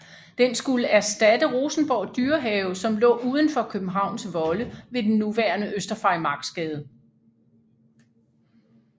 Den skulle erstatte Rosenborg Dyrehave som lå udenfor Københavns volde ved den nuværende Øster Farimagsgade